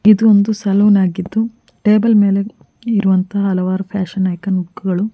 ಇದು ಒಂದು ಸಲುನಾಗಿದ್ದು ಟೇಬಲ್ ಮೇಲೆ ಇರುವಂತಹ ಹಲವಾರು ಫ್ಯಾಷನ್ ಏಕಾನ ಮುಖಗಳು.